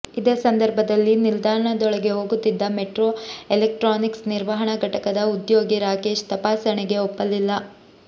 ಇದೇ ಸಂದರ್ಭದಲ್ಲಿ ನಿಲ್ದಾಣದೊಳಗೆ ಹೋಗುತ್ತಿದ್ದ ಮೆಟ್ರೋ ಎಲೆಕ್ಟ್ರಾನಿಕ್ಸ್ ನಿರ್ವಹಣಾ ಘಟಕದ ಉದ್ಯೋಗಿ ರಾಕೇಶ್ ತಪಾಸಣೆಗೆ ಒಪ್ಪಲಿಲ್ಲ